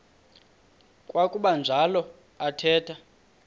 kwakuba njalo athetha